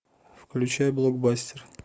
включай блокбастер